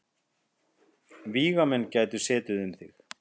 Vígamenn gætu setið um þig.